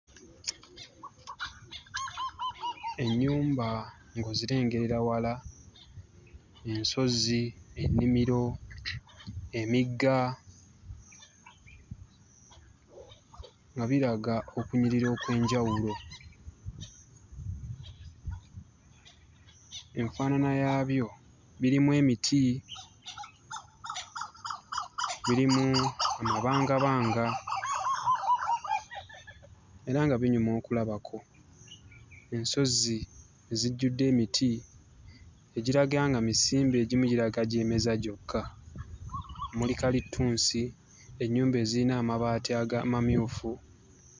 Ennyumba ng'ozirengerera wala, ensozi, ennimiro, emigga nga biraga okunyirira okw'enjawulo. Enfaanana yaabyo birimu emiti, birimu amabangabanga era nga binyuma okulabako. Ensozi ezijjudde emiti egiraga nga misimbe, egimu girabika gyemeza gyokka. Muli kalitunsi, ennyumba ezirina amabaati amamyufu.